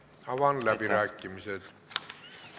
Avan läbirääkimised.